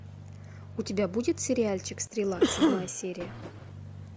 у тебя будет сериальчик стрела седьмая серия